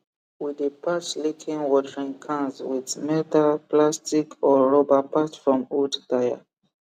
we dey patch leaking watering cans with melta plastic or rubber patch from old tyre